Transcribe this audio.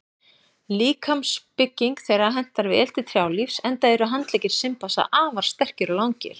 Líkamsbygging þeirra hentar vel til trjálífs enda eru handleggir simpansa afar sterkir og langir.